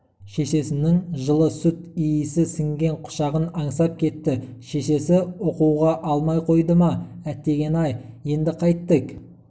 шешесінің жылы сүт иісі сіңген құшағын аңсап кетті шешесі оқуға алмай қойды ма әтеген-ай енді қайттік